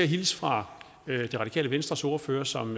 hilse fra det radikale venstres ordfører som